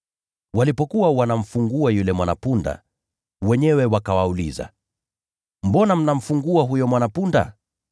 Walipokuwa wanamfungua yule mwana-punda, wenyewe wakawauliza, “Mbona mnamfungua huyo mwana-punda?”